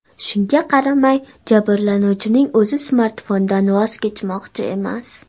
Shunga qaramay, jabrlanuvchining o‘zi smartfondan voz kechmoqchi emas.